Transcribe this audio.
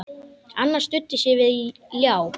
Annar studdi sig við ljá.